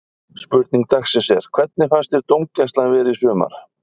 Spurning dagsins er: Hvernig fannst þér dómgæslan vera í sumar?